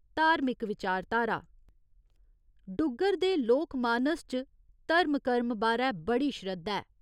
धार्मिक विचारधारा डुग्गर दे लोकमानस च धर्म कर्म बारै बड़ी श्रद्धा ऐ।